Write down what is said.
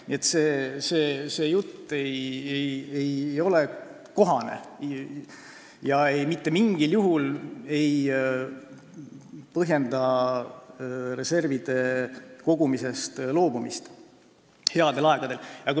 Nii et see jutt ei ole kohane ja mitte mingil juhul ei põhjenda see reservide kogumisest loobumist headel aegadel.